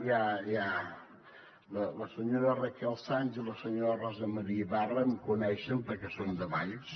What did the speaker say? ja ja la senyora raquel sans i la senyora rosa maria ibarra em coneixen perquè són de valls